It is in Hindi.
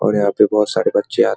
और यहाँ पर बहुत सारे बच्चे आत --